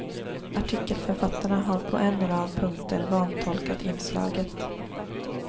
Artikelförfattarna har på en rad punkter vantolkat inslaget.